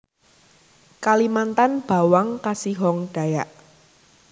Kalimantan bawang kasihong Dayak